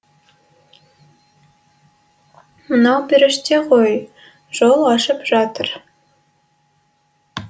мынау періште ғой жол ашып жатыр